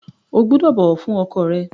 O gbúdọ̀ bọ̀wọ̀ fún ọkọ rẹ!